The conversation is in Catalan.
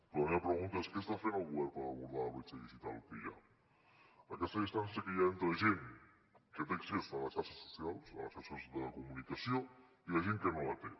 però la meva pregunta és què està fent el govern per abordar la bretxa digital que hi ha aquesta distància que hi ha entre gent que té accés a les xarxes socials a les xarxes de comunicació i la gent que no la té